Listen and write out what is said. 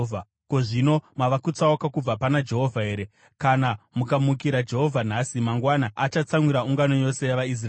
Ko, zvino mava kutsauka kubva pana Jehovha here? “ ‘Kana mukamukira Jehovha nhasi, mangwana achatsamwira ungano yose yavaIsraeri.